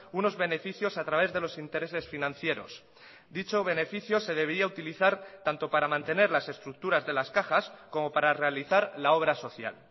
unos beneficios a través delos intereses financieros dicho beneficio se debería utilizar tanto para mantener las estructuras de las cajas como para realizar la obra social